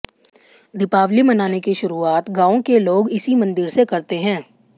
दीपावली मनाने की शुरूआत गांव के लोग इसी मंदिर से करते हैं